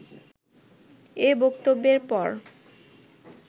এ বক্তব্যের পর